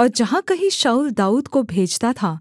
और जहाँ कहीं शाऊल दाऊद को भेजता था